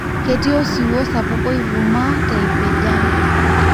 ketii osiwuo sapuk oivumaa tempijan.